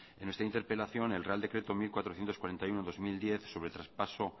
en nuestra interpelación el real decreto mil cuatrocientos cuarenta y uno barra dos mil diez sobre traspaso